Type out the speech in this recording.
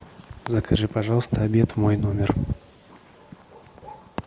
закажи пожалуйста обед в мой номер